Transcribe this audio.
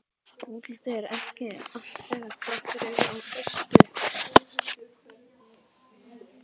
Útlitið er ekki allt þegar krakkar eru á föstu.